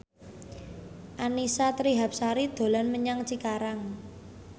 Annisa Trihapsari dolan menyang Cikarang